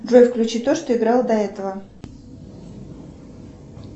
джой включи то что играло до этого